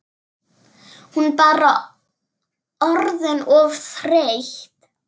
Hún bara orðin of þreytt.